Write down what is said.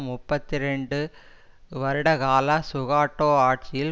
முப்பத்தி இரண்டு வருட கால சுகாட்டோ ஆட்சியில்